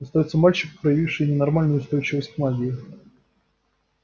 остаётся мальчик проявивший ненормальную устойчивость к магии